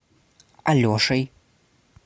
алешей